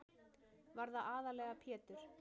Var það aðallega Pjetur